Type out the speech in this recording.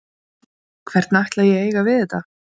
Hvernig ætla ég að eiga við þetta?